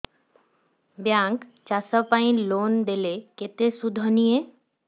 bank ଚାଷ ପାଇଁ loan ଦେଲେ କେତେ ସୁଧ ନିଏ